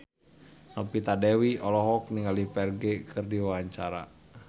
Novita Dewi olohok ningali Ferdge keur diwawancara